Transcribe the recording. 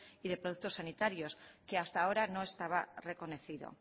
y de productos sanitarios que hasta ahora no estaba reconocido